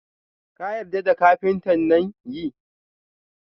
Ka yarda da kafinta nan?yi